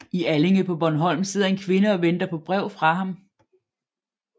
I Allinge på Bornholm sidder en kvinde og venter på brev fra ham